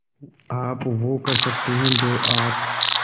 आप वो कर सकते हैं जो आप